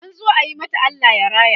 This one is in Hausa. an zo ayi mata Allah raya